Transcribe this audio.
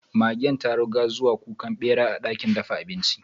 Magen ta ruga zuwa kukan bera a dakin dafa abinci.